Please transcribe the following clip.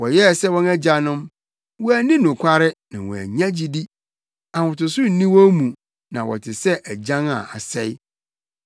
Wɔyɛɛ sɛ wɔn agyanom, wɔanni nokware na wɔannya gyidi, ahotoso nni wɔn mu na wɔte sɛ agyan a asɛe.